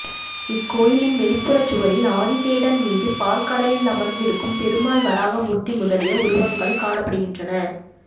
இக்கோயிலின் வெளிப்புறச் சுவரில் ஆதிசேடன் மீது பாற்கடலில் அமர்ந்திருக்கும் பெருமாள் வராகமூர்த்தி முதலிய உருவங்கள் காணப்படுகின்றன